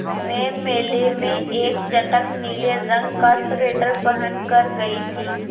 मैं मेले में एक चटख नीले रंग का स्वेटर पहन कर गयी थी